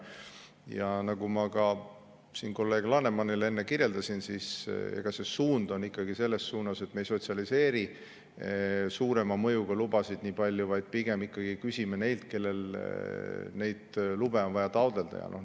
Ja nagu ma ka siin kolleeg Lanemanile enne kirjeldasin, suund on ikkagi selline, et me ei sotsialiseeri suurema mõjuga lubasid nii palju, vaid pigem ikkagi küsime neilt, kellel on vaja neid lube vaja taotleda.